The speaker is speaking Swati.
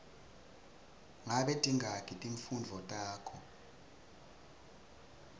ngabe tingaki timfundvo takho